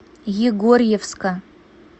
егорьевска